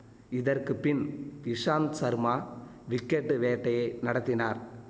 இதற்கு பின் இஷாந்த் சர்மா விக்கெட்டு வேட்டையை நடத்தினார்